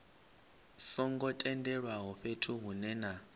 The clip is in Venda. songo tendelwaho fhethu hunwe na